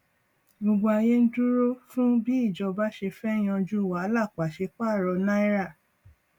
gbogbo ayé ń dúró fún bí ìjọba ṣe fẹ yanjú wàhálà pàṣẹ paro náírà